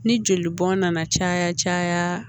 Ni joli bɔn na caya caya